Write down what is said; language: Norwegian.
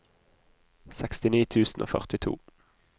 sekstini tusen og førtito